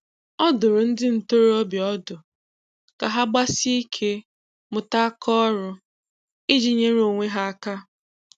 Ọ dụrụ ndị ntoroọbịa ọdụ ka ha gbasie ike mụta aka ọrụ ịjị nyere onwe ha aka